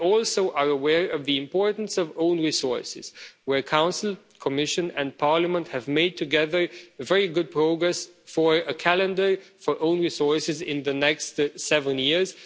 We are also aware of the importance of own resources, where the Council, the Commission and Parliament have made together very good progress for a calendar for own resources in the next seven years.